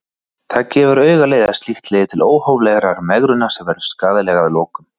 Það gefur augaleið að slíkt leiðir til óhóflegrar megrunar sem verður skaðleg að lokum.